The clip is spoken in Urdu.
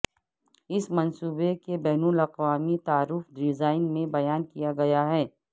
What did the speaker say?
اس منصوبے کے بین الاقوامی تعارف ڈیزائن میں بیان کیا گیا ہے